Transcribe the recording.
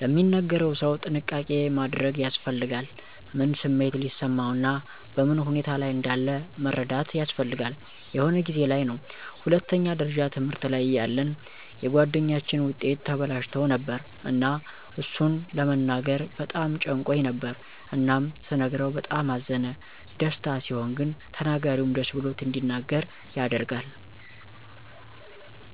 ለሚነገረው ሰው ጥንቃቄ ማድረግ ያስፈልጋል። ምን ስሜት ሊሰማው እና በምን ሁኔታ ላይ እንዳለ መረዳት ያስፈልጋል። የሆነ ጊዜ ላይ ነው ሁለተኛ ደረጃ ትምህርት ላይ እያለን የጉአደኛችን ዉጤት ተበላሽቶ ነበር እና እሱን ለመናገር በጣም ጨንቆኝ ነበር እናም ስነግረው በጣም አዘነ። ደስታ ሲሆን ግን ተናጋሪውም ደስ ብሎት እንዲናገር ያደርጋል።